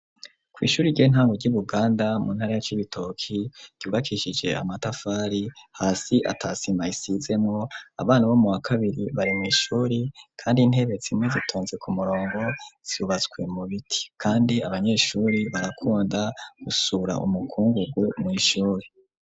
Kw'ishure ryi ntango ry'ibuganda mu ntara ya c'ibitoki ryubakishije amatafari hasi atasima isizemwo abana bo mu wa kabiri barema ishure kandi intebe zimwe zitonze ku murongo zubatswe mu biti kandi abanyeshure barakunda gusura umukungugu mw'ishure.